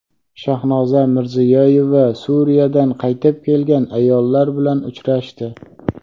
Shahnoza Mirziyoyeva Suriyadan qaytib kelgan ayollar bilan uchrashdi.